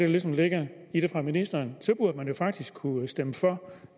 ligesom ligger i det fra ministerens side så burde man jo faktisk kunne stemme for